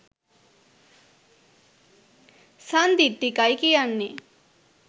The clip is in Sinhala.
සන්දිට්ඨිකයි කියන්නෙ.